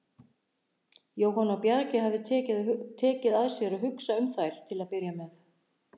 Jóhann á Bjargi hafði tekið að sér að hugsa um þær til að byrja með.